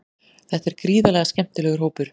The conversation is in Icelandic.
Þetta er gríðarlega skemmtilegur hópur.